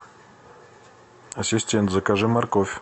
ассистент закажи морковь